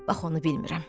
Bax onu bilmirəm.